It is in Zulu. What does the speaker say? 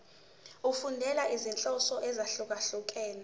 efundela izinhloso ezahlukehlukene